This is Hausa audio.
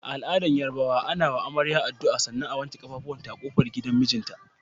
A al'adar Yarabawa, ana wa amarya addu'a sannan a wanke kafafunta a kofar gidan mijinta.